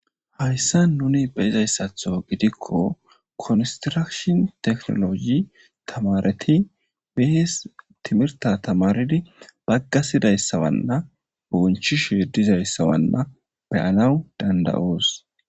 hayssa nuni be'izayssatho gidikko konsirashin tekhnologi tamareti behes timirta tamaridi baggasidayssawanna bonchi shidizayssawanna be7alawu danda7oos